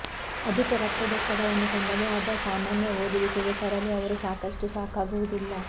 ಅಧಿಕ ರಕ್ತದೊತ್ತಡವನ್ನು ತನ್ನದೇ ಆದ ಸಾಮಾನ್ಯ ಓದುವಿಕೆಗೆ ತರಲು ಅವರು ಸಾಕಷ್ಟು ಸಾಕಾಗುವುದಿಲ್ಲ